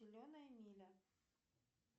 зеленая миля